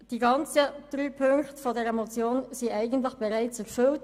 Die drei Ziffern dieser Motion sind eigentlich schon erfüllt: